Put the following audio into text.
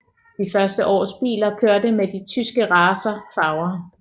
De første års biler kørte med de tyske racer farver